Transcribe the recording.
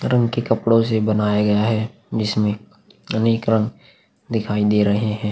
रंग के कपड़ों से बनाया गया है जिसमें अनेक रंग दिखाई दे रहे हैं।